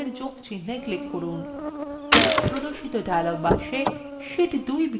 প্রদর্শিত dialog box sheet 2 বিকল্পে click করুন